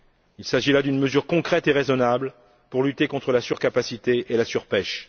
Il s'agit là d'une mesure concrète et raisonnable pour lutter contre la surcapacité et la surpêche.